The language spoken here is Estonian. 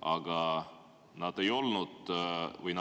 Aga need